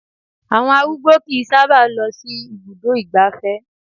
Àwọn arúgbó kìí sábà lọ sí ibùdó ìgbáfẹ́